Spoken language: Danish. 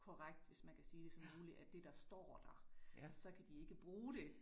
Korrekt, hvis man kan sige det, som muligt af det der står der, så kan de ikke bruge det